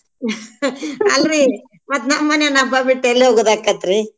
ಅಲ್ರೀ ಮತ್ ನಮ್ಮನ್ಯಾನ್ ಹಬ್ಬಾ ಬಿಟ್ ಎಲ್ ಹೋಗೋದ್ದಾಕೆತ್ರಿ.